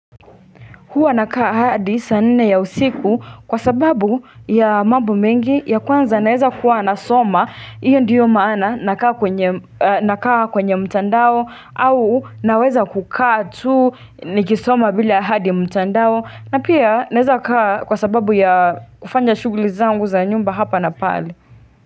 Huwanakaa hadi saa nne ya usiku kwa sababu ya mambo mengi ya kwanza naeza kuwa nasoma. Hiyo ndiyo maana nakaa kwenye mtandao au naweza kukaa tu nikisoma vile ahadi mtandao. Na pia naeza kaa kwa sababu ya kufanya shughuli zangu za nyumba hapa na pale.